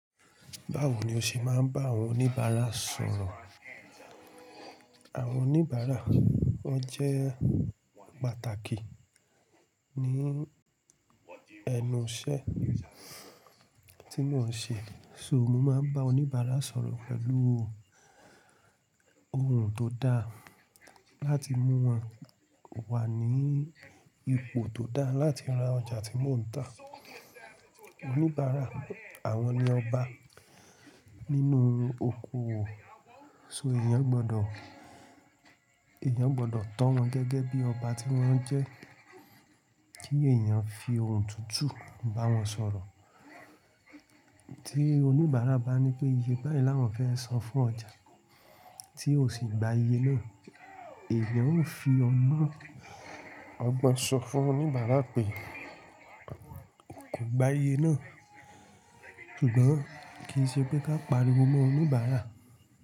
Báwo ni o ṣe máa ń bá àwọn oníbàárà sọ̀rọ̀? Àwọn oníbàárà wọ́n jẹ́ pàtàkì ní ẹnu iṣẹ́ tí mo ń ṣe. So mo máa ń bá oníbàárà sọ̀rọ̀ pẹ̀lú ohùn tó dá láti mú wọn wà ní ipò tó dá láti ra ọjà tí mò ń tà. Oníbàárà, àwọn ni ọba nínú oko wo So èèyàn gbọdọ̀, èèyàn gbọdọ̀ tọ́ wọn gẹ́gẹ́ bí ọba tí wọ́n jẹ́. Kí èèyàn fi ohùn tutu bá wọn sọ̀rọ̀. Tí oníbàárà bá ní pé iye báyìí làwọn fẹ́ san fún ọjà, tí o sì gba iye náà. Èèyàn ó fi ogbon sọ fún oníbàárà pé kò gba iye náà. Ṣùgbọ́n kí í ṣe pé ká pariwo mọ́ oníbàárà.